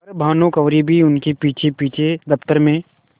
पर भानुकुँवरि भी उनके पीछेपीछे दफ्तर में